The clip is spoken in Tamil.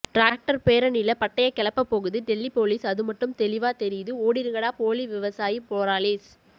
ட்ராக்ட்டர் பேரணில பட்டய கெளப்ப போகுது டெல்லி போலீஸ் அது மட்டும் தெளிவா தெரியுது ஓடிருங்கடா போலி விவசாயீ போராளீஸ்